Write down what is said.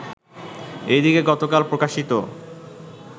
এদিকে গতকাল প্রকাশিত